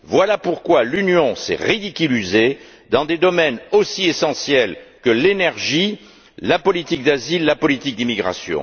Voilà pourquoi l'Union s'est ridiculisée dans des domaines aussi essentiels que l'énergie, la politique d'asile et la politique d'immigration.